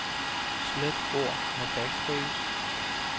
Slet ord med backspace.